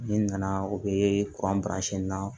N'i nana u bɛ kuran na